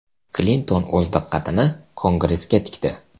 Klinton o‘z diqqatini Kongressga tikdi.